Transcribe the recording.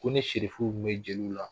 Ko ni serifuw bɛ jeliw la